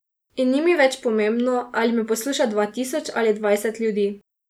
In ni mi več pomembno, ali me posluša dva tisoč ali dvajset ljudi.